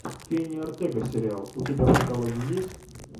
кенни ортега сериал у тебя в каталоге есть